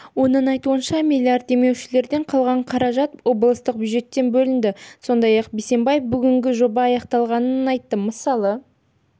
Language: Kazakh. оның айтуынша миллиард демеушілерден қалған қаражат облыстық бюджеттен бөлінді сондай-ақ бисембаев бүгінге жоба аяқталғанын айтты мысалы